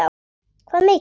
Hvað mikið?